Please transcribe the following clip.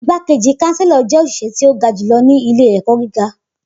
Igbakeji kanselo jẹ oṣiṣẹ ti o ga julọ ni ile-ẹkọ giga